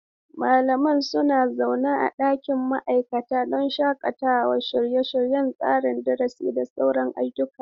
Malamai suna zaune a ɗakin ma'aikata don shakatawa, shirya tsare-tsaren darasi, da sauran ayyuka.